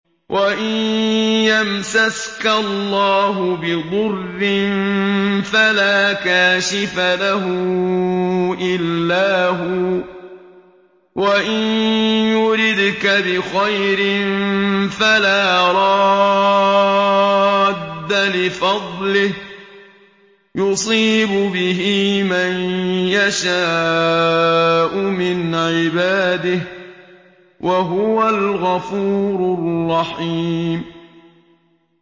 وَإِن يَمْسَسْكَ اللَّهُ بِضُرٍّ فَلَا كَاشِفَ لَهُ إِلَّا هُوَ ۖ وَإِن يُرِدْكَ بِخَيْرٍ فَلَا رَادَّ لِفَضْلِهِ ۚ يُصِيبُ بِهِ مَن يَشَاءُ مِنْ عِبَادِهِ ۚ وَهُوَ الْغَفُورُ الرَّحِيمُ